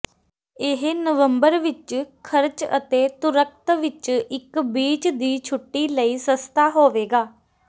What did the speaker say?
ਇਹ ਨਵੰਬਰ ਵਿੱਚ ਖ਼ਰਚ ਅਤੇ ਤੁਰਕਤ ਵਿੱਚ ਇੱਕ ਬੀਚ ਦੀ ਛੁੱਟੀ ਲਈ ਸਸਤਾ ਹੋਵੇਗਾ